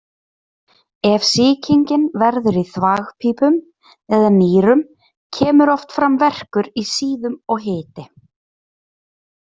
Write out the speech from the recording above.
Ef sýkingin verður í þvagpípum eða nýrum kemur oft fram verkur í síðum og hiti.